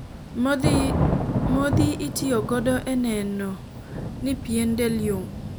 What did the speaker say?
modhi itiyo godo e neno ni pien del yom